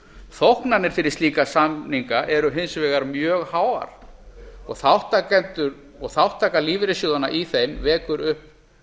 þóknanir fyrir slíka samninga eru hins vegar mjög háar og þátttakendur og þátttaka lífeyrissjóðanna í þeim vekur upp